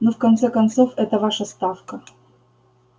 ну в конце концов эта ваша ставка